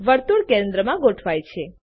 વર્તુળ કેન્દ્ર માં ગોઠવાયેલ છે